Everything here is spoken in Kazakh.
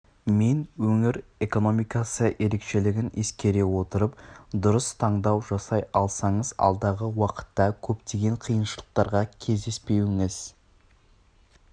мен өңір экономикасы ерекшелігін ескере отырып дұрыс таңдау жасай алсаңыз алдағы уақытта көптеген қиыншылықтарға кездеспеуіңіз